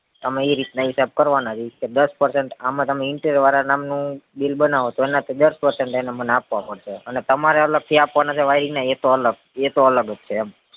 અમે ઈ રીતના હિસાબ કરવાના છે દસ percentage આમાં તમે interior વાર નામ નું bill બનાવો એનાથી દસ percentage અમને આપવું પડે અને તમારે અલગ થી આપવાના ને એવા ઈ તો અલગ અ રો અલગ જ તે એમ